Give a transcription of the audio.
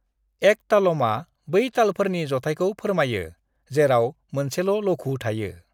एकतालमआ बै तालफोरनि जथायखौ फोरमायो जेराव मोनसेल' लघु थायो।